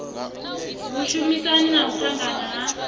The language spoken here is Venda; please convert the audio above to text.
vhushumisani na u ṱangana ha